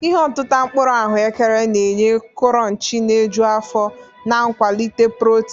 Ihe otita mkpuru ahụekere na-enye kuronchi na-eju afọ na nkwalite protin.